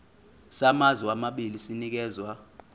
samazwe amabili sinikezwa